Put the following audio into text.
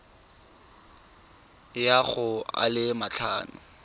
ya go a le matlhano